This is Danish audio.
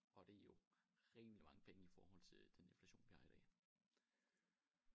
Og det jo rimelig mange penge i forhold til den inflation vi har i dag